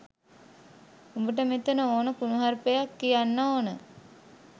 උඹට මෙතන ඕන කුණුහරුපයක් කියන්න ඕන